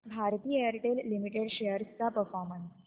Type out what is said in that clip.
Bharti Airtel limited shares चा performance